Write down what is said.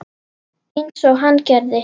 Einsog hann gerði.